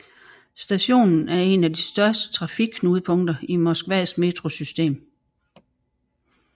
Stationen er en del et af de største trafikknudepunkter i Moskvas metrosystem